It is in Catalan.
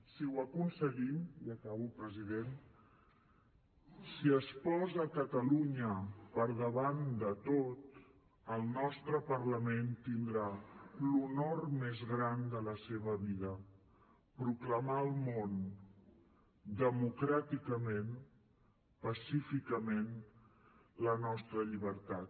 si ho aconseguim ja acabo president si es posa catalunya per davant de tot el nostre parlament tindrà l’honor més gran de la seva vida proclamar al món democràticament pacíficament la nostra llibertat